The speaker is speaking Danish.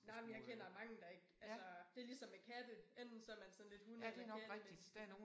Nej men jeg kender mange der ikke altså. Det ligesom med katte. Enten så man sådan lidt hunde eller kattemenneske